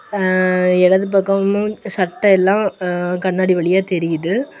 எ எடது பக்கமு சட்டை எல்லா எ கண்ணாடி வழியா தெரிது.